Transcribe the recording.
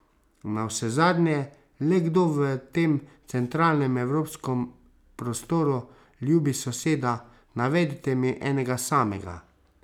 Navsezadnje, le kdo v tem centralnem evropskem prostoru ljubi soseda, navedite mi enega samega.